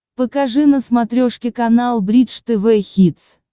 покажи на смотрешке канал бридж тв хитс